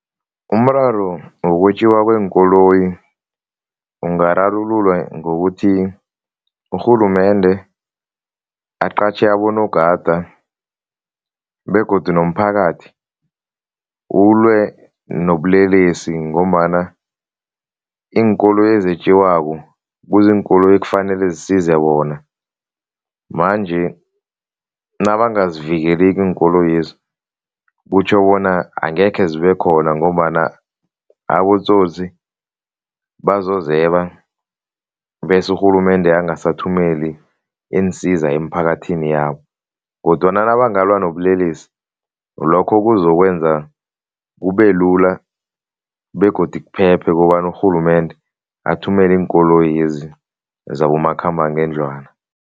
Umraro wokwetjiwa kweenkoloyi ungararululwa ngokuthi urhulumende aqatjhe abonogada begodu nomphakathi ulwe nobulelesi ngombana iinkoloyi ezetjiwako kuziinkoloyi ekufanele zisize bona manje nabangazivikeliko iinkoloyezi kutjho bona angekhe zibekhona ngombana abotsotsi bazozeba bese urhulumende angasaphumeli iinsiza emphakathini yabo kodwana nabangalwa ngobulelesi, lokho kuzokwenza kubelula begodu kuphephe kobana urhulumende athumele iinkoloyezi zabomakhambangendlwana.